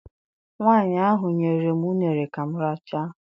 Nwaanyị ahụ nyere m uṅere ka m rachaa.